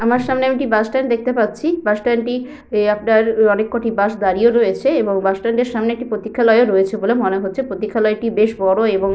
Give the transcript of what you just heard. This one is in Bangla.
আমার সামনে আমি একটি বাসস্ট্যান্ড দেখতে পাচ্ছি। বাসস্ট্যান্ড টি এ আপনার অনেক কটি বাস দাঁড়িয়ে রয়েছে এবং বাস স্ট্যান্ড এর সামনে একটি প্রতীক্ষালয়-ও রয়েছে বলে মনে হচ্ছে। প্রতীক্ষালয় টি বেশ বড় এবং--